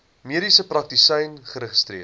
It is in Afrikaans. mediese praktisyn geregistreer